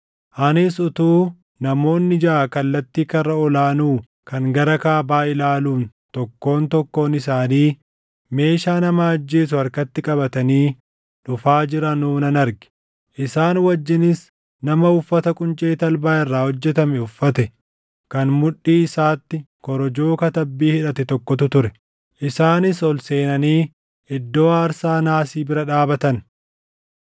Anis utuu namoonni jaʼa kallattii karra ol aanuu kan gara kaabaa ilaaluun tokkoon tokkoon isaanii meeshaa nama ajjeesu harkatti qabatanii dhufaa jiranuu nan arge. Isaan wajjinis nama uffata quncee talbaa irraa hojjetame uffate kan mudhii isaatti korojoo katabbii hidhate tokkotu ture. Isaanis ol seenanii iddoo aarsaa naasii bira dhaabatan.